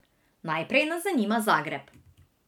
Najprej nas zanima Zagreb.